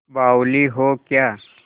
बावली हो क्या